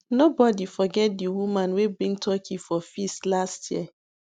nobody forget the woman wey bring turkey for feast last year